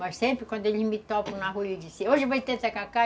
Mas sempre quando eles me topam na rua, eles dizem, hoje vai ter tacacá?